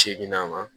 Seginna ma